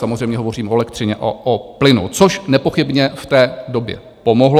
Samozřejmě hovořím o elektřině, o plynu, což nepochybně v té době pomohlo.